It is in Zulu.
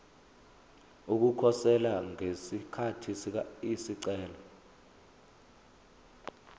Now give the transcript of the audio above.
ukukhosela ngesikhathi isicelo